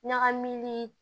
Ɲagami